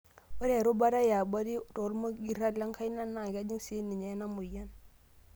Ore erubata yaabori olmogirra lenkaina naa kejing' sii ninye ena moyian.